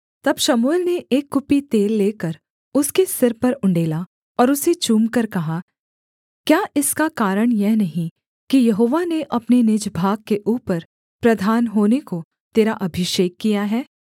तब शमूएल ने एक कुप्पी तेल लेकर उसके सिर पर उण्डेला और उसे चूमकर कहा क्या इसका कारण यह नहीं कि यहोवा ने अपने निज भाग के ऊपर प्रधान होने को तेरा अभिषेक किया है